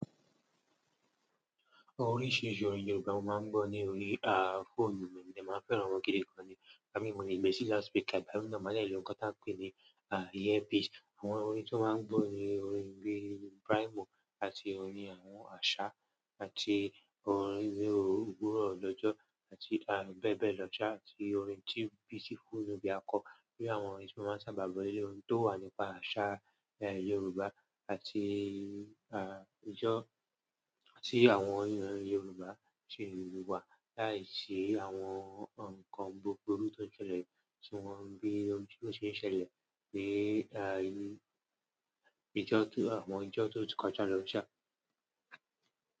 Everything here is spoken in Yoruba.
Oríṣiríṣi orin Yorùbá mo máa ń gbọ́ ní orí, phone. Mi mode màá fẹ́ ran wọn gidi kan ní, ìgbà mi mo lè gbesi loud speaker ìgbà mi má dé lo ǹkan tá n peni earpiece. Àwọn orin tí wọ́n máa ń gbọ́ ni orin bíi Braimoh àti orin àwọn asa àti orin bíi òwúrọ̀ lọ́jọ́ àti, bẹ́ẹ̀ bẹ́ẹ̀ lọ sá àti orin tí Beautiful Nubia kọ. Bí i àwọn orin tí wọ́n sábà gbọ́ leleyi orin tó wà nípa àṣà, Yorùbá àti, ijó àti àwọn orin Yorùbá ṣe ìlú wa láìsí àwọn nǹkan gbogbo tó ń ṣẹlẹ̀ tí wọ́n ń gbé orin tó ṣe ń ṣẹlẹ̀ ní, ijó tó àwọn ijó tó ti kọjá lọ́ sá.